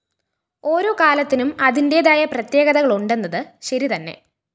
ഓരോ കാലത്തിനും അതിന്റേതായ പ്രത്യേകതകളുണ്ടെന്നതു ശരിതന്നെ